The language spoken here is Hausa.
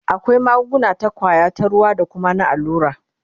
akwai magunguna ta kwaya, ta ruwa da Kuma na allura